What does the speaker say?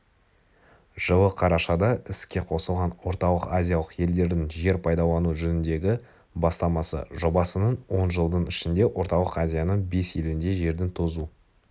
жылы қарашада іске қосылған орталық-азиялық елдердің жер пайдалану жөніндегі бастамасы жобасының он жылдың ішінде орталық азияның бес елінде жердің тозу